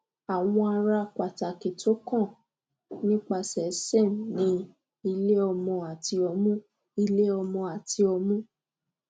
awọn ara pataki ti o kan nipasẹ serm ni ileọmọ ati ọmu ileọmọ ati ọmu